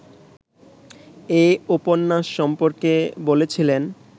এ উপন্যাস সম্পর্কে বলেছিলেন